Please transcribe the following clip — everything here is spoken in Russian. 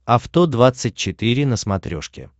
авто двадцать четыре на смотрешке